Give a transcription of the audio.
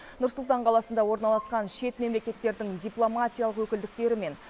нұр сұлтан қаласында орналасқан шет мемлекеттердің дипломатиялық өкілдіктері мен